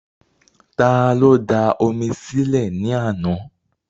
Ta ló da omi sí lẹ̀ ní àná?